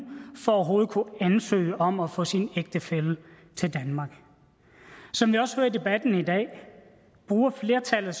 for overhovedet at kunne ansøge om at få sin ægtefælle til danmark som jeg også hører i debatten i dag bruger flertallet